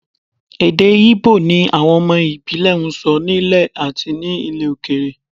Èdè Íbò ni àwọn ọmọ ìbílẹ̀ ń sọ nílé àti ní ilẹ̀ òkèèrè